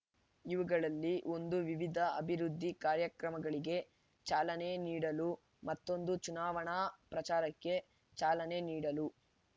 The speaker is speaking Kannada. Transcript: ಇವುಗಳಲ್ಲಿ ಒಂದು ವಿವಿಧ ಅಭಿವೃದ್ಧಿ ಕಾರ್ಯಕ್ರಮಗಳಿಗೆ ಚಾಲನೆ ನೀಡಲು ಮತ್ತೊಂದು ಚುನಾವಣಾ ಪ್ರಚಾರಕ್ಕೆ ಚಾಲನೆ ನೀಡಲು